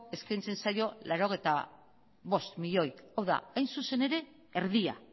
eskaintzen zaio laurogeita bost milioi hau da hain zuzen ere erdia